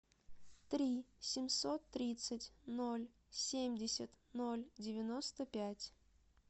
три семьсот тридцать ноль семьдесят ноль девяносто пять